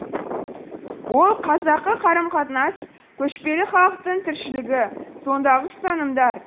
ол қазақы қарым қатынас көшпелі халықтың тіршілігі сондағы ұстанымдар